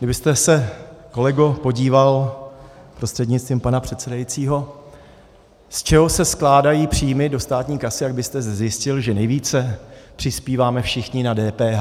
Kdybyste se, kolego, podíval prostřednictvím pana předsedajícího, z čeho se skládají příjmy do státní kasy, tak byste zjistil, že nejvíce přispíváme všichni na DPH.